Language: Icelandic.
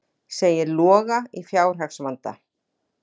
Segir Loga í fjárhagsvanda